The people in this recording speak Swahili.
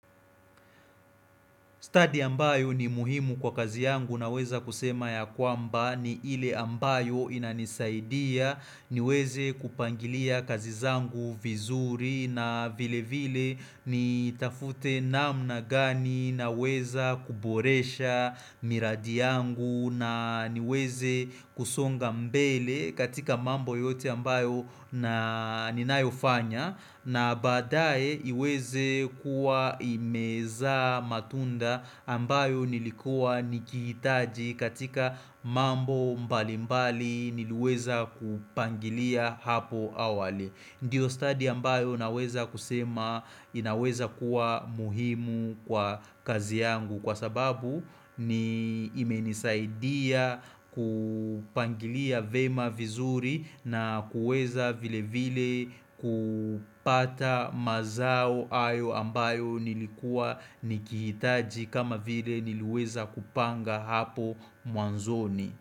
Study ambayo ni muhimu kwa kazi yangu naweza kusema ya kwamba ni ile ambayo inanisaidia niweze kupangilia kazi zangu vizuri na vile vile nitafute namna gani naweza kuboresha miradi yangu na niweze kusonga mbele katika mambo yote ambayo na ninayofanya na badae iweze kuwa imezaa matunda ambayo nilikua nikihitaji katika mambo mbalimbali niliweza kupangilia hapo awali. Ndio study ambayo naweza kusema inaweza kuwa muhimu kwa kazi yangu kwa sababu ni imenisaidia ku pangilia vema vizuri na kuweza vile vile ku,, pata mazao hayo ambayo nilikua nikihitaji kama vile niliweza kupanga hapo mwanzoni,